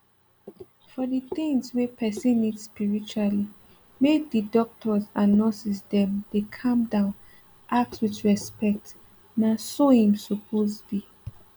for d things wey person need spiritually make d doctors and nurses dem dey calm down ask with respect na so im suppose be